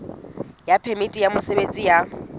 ya phemiti ya mosebetsi ya